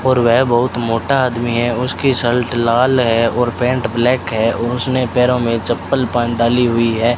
और वह बहुत मोटा आदमी है उसकी शर्ट लाल है और पैंट ब्लैक है और उसने पैरों में चप्पल पहन डाली हुई है।